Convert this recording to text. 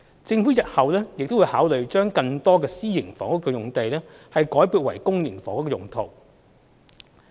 政府日後會考慮把更多私營房屋用地改撥為公營房屋用途。